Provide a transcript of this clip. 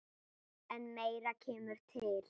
En meira kemur til.